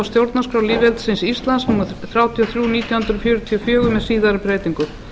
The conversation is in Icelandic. stjórnarskrá lýðveldisins íslands númer þrjátíu og þrjú nítján hundruð fjörutíu og fjögur með síðari breytingum